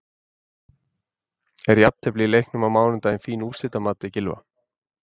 Er jafntefli í leiknum á mánudag fín úrslit að mati Gylfa?